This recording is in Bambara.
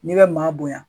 N'i bɛ maa bonya